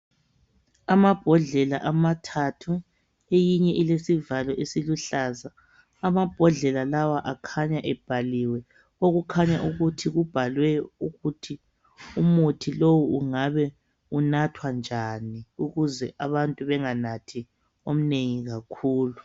Amabhodlela amathathu, eyinye ilesivalo esiluhlaza . Amabhodlela lawa akhanya ebhaliwe okukhanya ukuthi kubhalwe ukuthi umuthi lowu ungabe unathwa njani ukuze abantu benganathi omnengi kakhulu.